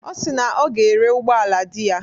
Ọ si na ọ ga-ere ụgbọala di ya.